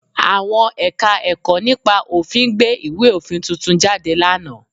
Àwọn Ẹ̀ka-ẹ̀kọ́ nípa òfin gbé ìwé òfin tuntun jáde lánàá